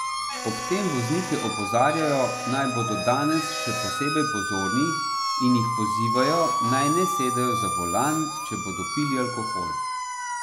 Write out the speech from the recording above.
Ob tem voznike opozarjajo, naj bodo danes še posebej pozorni, in jih pozivajo, naj ne sedejo za volan, če bodo pili alkohol.